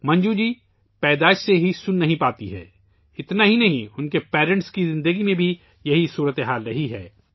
منجو جی، پیدائش سے ہی سن نہیں پا تی ہیں، یہی نہیں، ان کے والدین کی زندگی میں بھی یہی حال رہا ہے